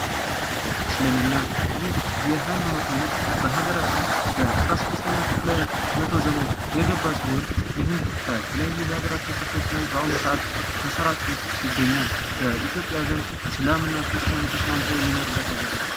እስልምና ይህ የሃይማኖት አይነት በሃገራችን በአስራሰድስተኛው መቶ ክፍለ ዘመን የገባ ሲሆን ይህ በተለያዩ የሀገራችን ክፍል ተሰራጭቶ ይገኛል ።በኢትዮጵያ ዘንድ እስልምና ክርስቲያኑ ተስማምቶ የሚኖርበት ሀገር ነው ።